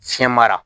Fiyɛ mara